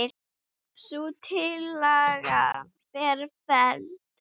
Sú tillaga var felld.